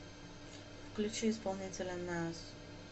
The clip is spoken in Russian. включи исполнителя нааз